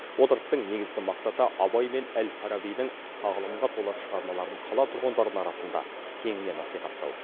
отырыстың негізгі мақсаты абай мен әл фарабидің тағылымға толы шығармаларын қала тұрғындарын арасында кеңінен насихаттау